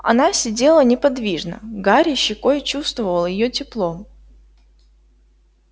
она сидела неподвижно гарри щекой чувствовал её тепло